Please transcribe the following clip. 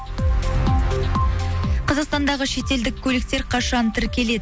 қазақстандағы шет елдік көліктер қашан тіркеледі